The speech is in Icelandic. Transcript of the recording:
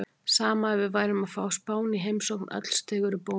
Sama ef við værum að fá Spán í heimsókn, öll stig eru bónus.